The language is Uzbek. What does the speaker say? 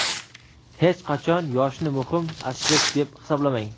Hech qachon yoshni muhim aspekt deb hisoblamang.